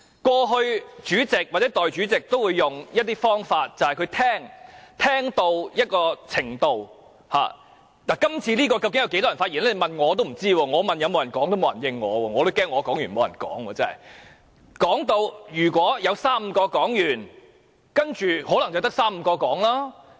過去，主席或代理主席都會用一種方法，就是聆聽——這次究竟有多少位議員想發言，我不知道，我問有沒有人想發言，沒有人理睬我，我也擔心我發言完畢後，沒有其他議員發言。